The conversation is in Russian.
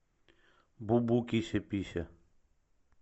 бубу кися пися